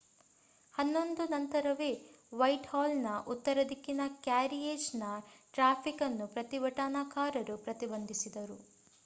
11:00 ನಂತರವೇ ವೈಟ್‌ಹಾಲ್‌ನ ಉತ್ತರ ದಿಕ್ಕಿನ ಕ್ಯಾರಿಯೇಜ್‌ನ ಟ್ರಾಫಿಕ್ ಅನ್ನು ಪ್ರತಿಭಟನಾಕಾರರು ಪ್ರತಿಬಂಧಿಸಿದರು